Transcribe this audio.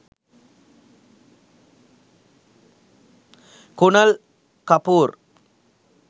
kunal kapoor